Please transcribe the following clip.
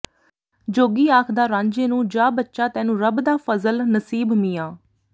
ਜੋਗੀ ਆਖਦਾ ਰਾਂਝੇ ਨੂੰ ਜਾ ਬੱਚਾ ਤੈਨੂੰ ਰੱਬ ਦਾ ਫ਼ਜ਼ਲ ਨਸੀਬ ਮੀਆਂ